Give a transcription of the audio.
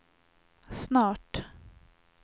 snart